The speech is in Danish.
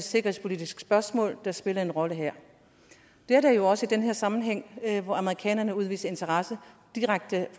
sikkerhedspolitisk spørgsmål der spiller en rolle her det er der jo også i den her sammenhæng hvor amerikanerne udviser interesse direkte